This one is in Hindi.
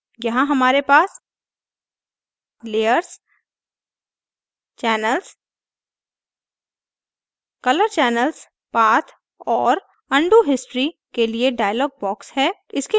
यहाँ हमारे पास layers channels color channels path and undo history के लिए dialog boxes हैं